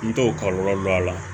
N t'o kɔlɔlɔ dɔn a la